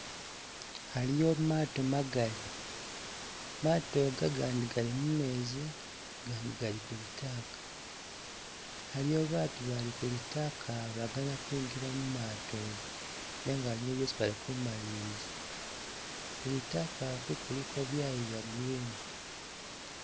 Aliyo maato magali, maato ga gandi gali mumezi gandi gali kulitaka aliyo baatu bali kulitaka bagana kwinjila mumaato nenga aliyo byesi bali kumaliliza, kulitaka ku kuliko byayo bya green.